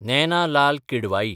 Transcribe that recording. Naina Lal Kidwai